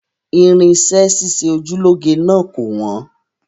Irinṣẹ́ ṣíṣe oju lọ́ge náà kò wọ́n